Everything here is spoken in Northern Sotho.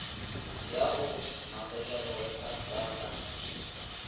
ya go masošalewekha ka la